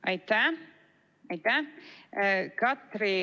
Aitäh!